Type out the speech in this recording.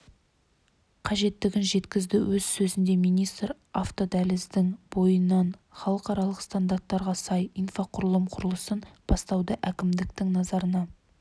қажеттігін жеткізді өз сөзінде министр автодәліздің бойынан халықаралық стандарттарға сай инфрақұрылым құрылысын бастауды әкімдіктің назарына